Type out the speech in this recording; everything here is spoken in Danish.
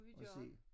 Og se